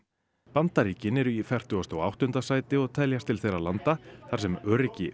Bandaríkin eru í fertugasta og áttunda sæti og teljast til þeirra landa þar sem öryggi